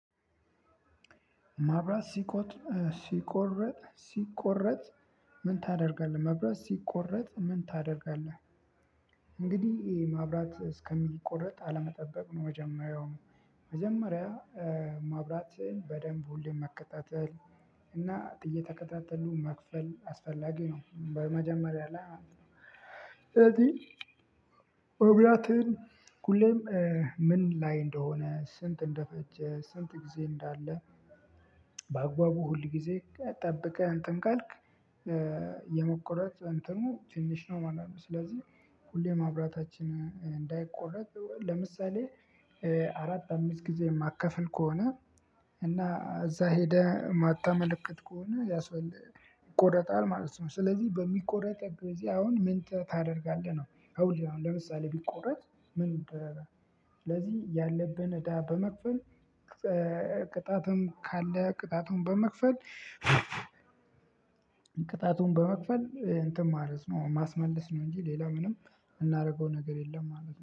መብራት ሲቋረጥ ምን ታደርጋለህ? እንግዲህ ይሄ መብራት እስከሚቆረጥ አለመጠበቅ ነው መጀመሪያውኑ መጀመሪያ መብራት በደንብ ሁሌም መከታተል እና እየተከታተሉ መክፈል አስፈላጊ ነው። በመጀመሪያ ላይ እዚህ መብራትን ሁሌም ምን ላይ እንደሆነ ስንት እንደፈጀ ስንት ጊዜ እንዳለ? በአግባቡ ሁሉ ጊዜ ጠብቀህ እንትን ካልክ የመቆረጥ እንትኑ ትንሽ ነው ማለት ነው። ስለዚህ ሁሌ ማብራታችን እንዳይቆረጥ ለምሳሌ አራት አምስት ጊዜ የማትከፍል ከሆነ እና እዛ ሄደህ ማታመለከት ከሆነ ይቆረጣል ማለት ነው። ስለዚህ በሚቆረጥ ጊዜ አሁን ምን ታደርጋለህ ነው? አሁን ለምሳሌ ቢቆረጥ ምን እንደረዳ? ስለዚህ ያለብን እዳ በመክፈል ቅጣቱንም ካለ ቅጣቱን በመክፈል እንትን ማለት ነው ማስመለስ ነው። እንጂ ሌላ ምንም የምናደርገው ነገር የለም ማለት ነው